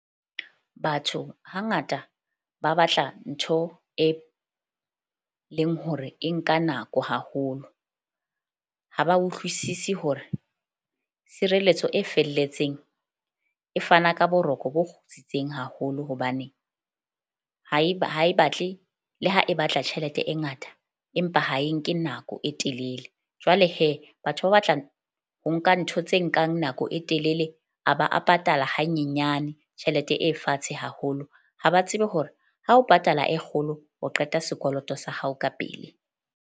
Batho hangata ba batla ntho, e leng hore e nka nako haholo. Ha ba utlwisisi hore tshireletso e felletseng e fana ka boroko bo kgutsitseng haholo hobane haeba ha e batle le ha e batla tjhelete e ngata, empa ha e nke nako e telele. Jwale batho ba batla ho nka ntho tse nkang nako e telele. A ba a patala hanyenyane tjhelete e fatshe haholo. Ha ba tsebe hore ha o patala e kgolo o qeta sekoloto sa hao ka pele.